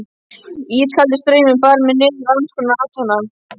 Ískaldur straumurinn bar mig niður á annarskonar athafna